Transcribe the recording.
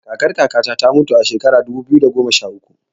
Kakar kaka ta ta mutu a shekara ta dubu biyu da goma sha uku